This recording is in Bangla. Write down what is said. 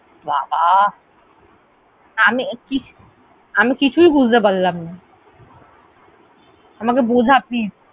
বাবাঃ, আমি ~আমি কিছুই বুঝতে পারলাম না। আমাকে বোঝা please ।